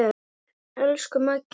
Elsku Maggi minn.